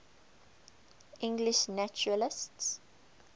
english naturalists